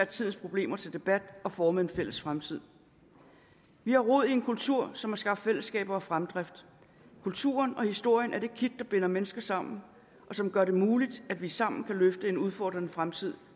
tids problemer til debat og formede en fælles fremtid vi har rod i en kultur som har skabt fællesskaber og fremdrift kulturen og historien er det kit der binder mennesker sammen og som gør det muligt at vi sammen kan løfte en udfordrende fremtid